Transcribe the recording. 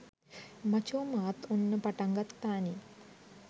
මචෝ මාත් ඔන්න පටන් ගත්තානේ